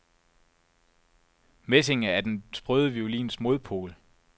Messinge er den sprøde violins modpol.